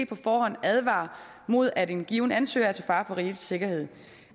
på forhånd advarer mod at en given ansøger er til fare for rigets sikkerhed